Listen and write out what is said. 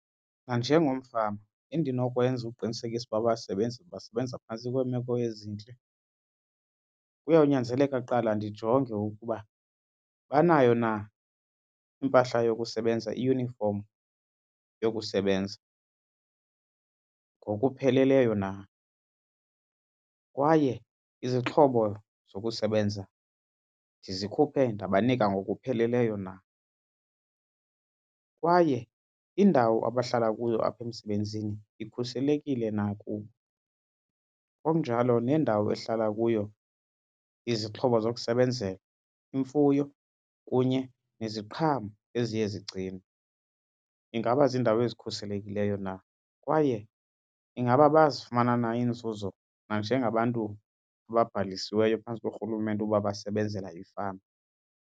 Nanjengomfama, endinokwenza ukuqinisekisa ukuba abasebenzi basebenza phantsi kweemeko ezintle kuyawunyanzeleka kuqala ndijonge ukuba banayo na impahla yokusebenza, iyunifom yokusebenza, ngokupheleleyo na kwaye izixhobo zokusebenza ndizikhuphe ndabanika ngokupheleleyo na. Kwaye indawo abahlala kuyo apha emsebenzini ikhuselekile na kubo, okunjalo nendawo ehlala kuyo izixhobo zokusebenzela, imfuyo kunye neziqhamo eziye zigcinwe ingaba ziindawo ezikhuselekileyo na. Kwaye ingaba bayazifumana na iinzuzo njengabantu ababhalisiweyo phantsi koRhulumente ukuba basebenzela ifama.